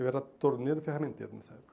Eu era torneiro e ferramenteiro nessa época.